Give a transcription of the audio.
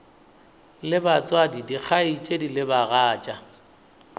le batswadi dikgaetšedi le bagatša